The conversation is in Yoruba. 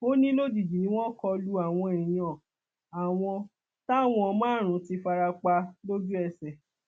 ó ní lójijì ni wọn kọ lu àwọn èèyàn àwọn táwọn márùnún ti fara pa lójú ẹsẹ